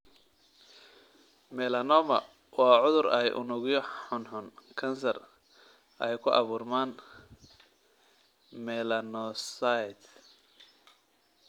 Melanoma waa cudur ay unugyo xunxun (kansar) ay ku abuurmaan melanocytes.